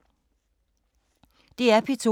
DR P2